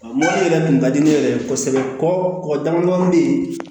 Mobili yɛrɛ kun ka di ne yɛrɛ ye kosɛbɛ kɔ dama bɛ yen